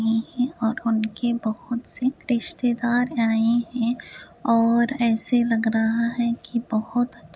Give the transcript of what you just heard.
और उनके बहुत से रिश्तेदार आए है और ऐसे लग रहा है कि बहुत --